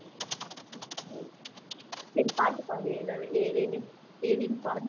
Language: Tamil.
சரி பாட்டு பாடு ஏதாவது ஏதேனும் ஏதேனும் பாடு